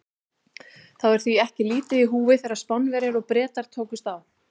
Það var því ekki lítið í húfi þegar Spánverjar og Bretar tókust á.